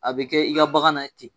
A be kɛ i ka bagan na ye ten.